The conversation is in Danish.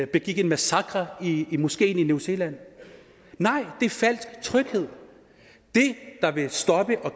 begik en massakre i moskeen i new zealand nej det er en falsk tryghed det der vil stoppe og